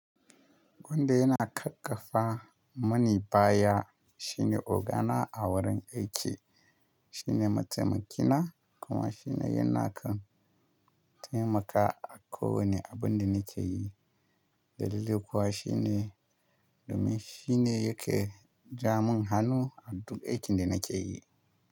Wanda yana ƙarƙafa mini baya shine ogana a wurin aiki, shine mataimaki na kuma shine yana kan taimakawa a kowane abun da nake yi. Dalili kuwa shine domin shi ne yake ja mun hannu a duk aikin da nake yi.